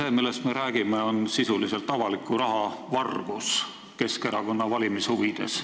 See, millest me räägime, on sisuliselt avaliku raha vargus Keskerakonna valimise huvides.